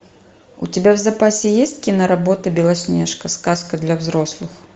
у тебя в запасе есть киноработа белоснежка сказка для взрослых